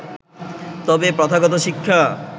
তবে প্রথাগত শিক্ষা